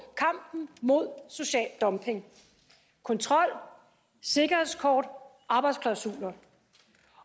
kampen mod social dumping kontrol sikkerhedskort arbejdsklausuler